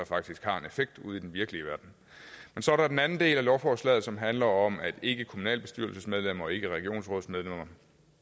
faktisk har en effekt ude i den virkelige verden men så er der den anden del af lovforslaget som handler om at ikkekommunalbestyrelsesmedlemmer og ikkeregionsrådsmedlemmer